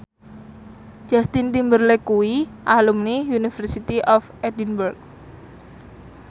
Justin Timberlake kuwi alumni University of Edinburgh